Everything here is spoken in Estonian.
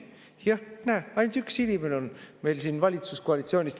Jah, näe, ainult üks inimene on meil siin valitsuskoalitsioonist.